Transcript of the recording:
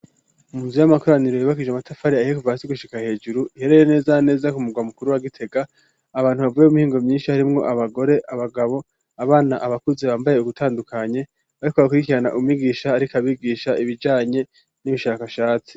Munzu y'amakoraniro yubakishije amatafari ahiye kuva hasi gushika hejuru iherere neza neza kumugwa mukuru wa Gitega abantu bavube b'umihingo myinshi harimwo abagore abagabo abana abakuzi bambaye ugutandukanye ariko bakurikirana umigisha ariko abigisha ibijanye n'ibishakashatsi.